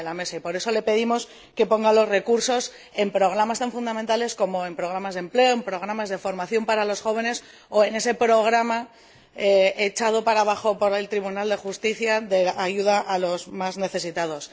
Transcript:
Y, por eso, le pedimos que asigne los recursos a programas tan fundamentales como los programas de empleo, los programas de formación para los jóvenes o ese programa, echado abajo por el Tribunal de Justicia, de ayuda a los más necesitados.